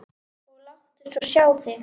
Og láttu svo sjá þig.